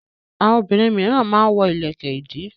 Àwọn obìnrin mìíràn máa ń wọ ilẹ̀kẹ̀-ìdí.